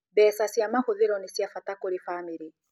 Mbeca cia mahũthĩro nĩ ci abata kũrĩ bamĩrĩ